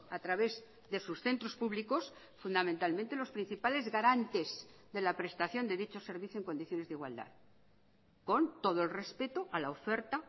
a través de sus centros públicos fundamentalmente los principales garantes de la prestación de dichos servicio en condiciones de igualdad con todo el respeto a la oferta